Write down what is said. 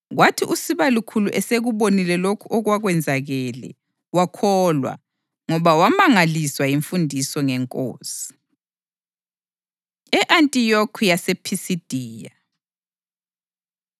Kwathi usibalukhulu esekubonile lokho okwakwenzakele wakholwa, ngoba wamangaliswa yimfundiso ngeNkosi. E-Antiyokhi YasePhisidiya